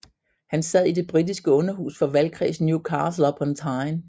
Han sad i det britiske Underhus for valgkredsen Newcastle upon Tyne